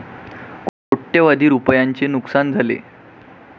कोटय़वधी रूपयांचे नुकसान झाले.